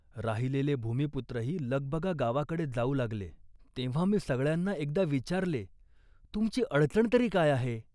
राहिलेले भूमिपुत्रही लगबगा गावाकडे जाऊ लागले. तेव्हा मी सगळ्यांना एकदा विचारले, "तुमची अडचण तरी काय आहे